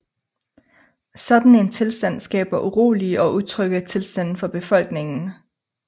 Sådan en tilstand skaber urolige og utrygge tilstande for befolkningen